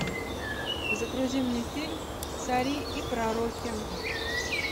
загрузи мне фильм цари и пророки